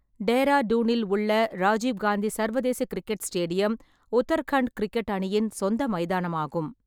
டேராடூனில் உள்ள ராஜீவ் காந்தி சர்வதேச cricket stadium Uttarakhand cricket அணியின் சொந்த மைதானமாகும்.